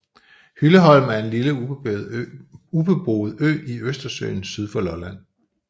Hylleholm er en lille ubeboet ø i Østersøen syd for Lolland